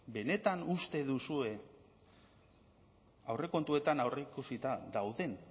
benetan uste duzue aurrekontuetan aurreikusita dauden